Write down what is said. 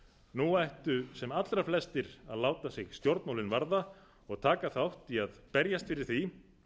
nú ættu sem allra flestir að láta sig stjórnmálin varða og taka þátt í að berjast fyrir því